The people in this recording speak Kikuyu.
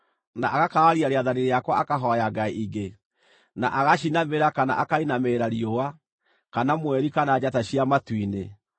na agakararia rĩathani rĩakwa akahooya ngai ingĩ, na agaciinamĩrĩra kana akainamĩrĩra riũa, kana mweri, kana njata cia matu-inĩ,